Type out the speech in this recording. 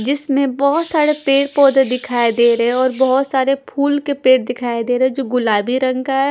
जिसमें बहोत सारे पेड़-पौधे दिखाई दे रहे हैं और बहोत सारे फूल के पेड़ दिखाई दे रहे हैं जो गुलाबी रंग का है।